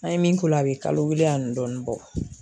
An ye min k'o la a bɛ kalo kelen ani dɔɔnin bɔ.